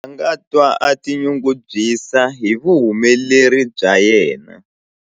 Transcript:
A nga twa a tinyungubyisa hi vuhumeleri bya yena.